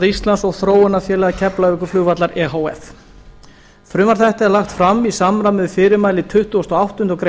íslands og þróunarfélagi keflavíkurflugvallar e h f frumvarp þetta er lagt fram í samræmi við fyrirmæli tuttugasta og áttundu grein